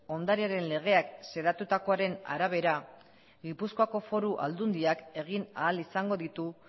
ondarearen legeak xedatutakoaren arabera gipuzkoako foru aldundiak egin ahal izango ditu